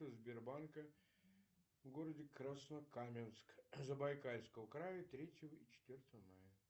сбербанка в городе краснокаменск забайкальского края третьего и четвертого мая